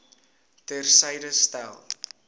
ter syde stel